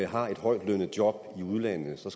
har et højtlønnet job i udlandet så